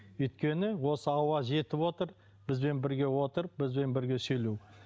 өйткені осы ауа жетіп отыр бізбен бірге отыр бізбен бірге сөйлеу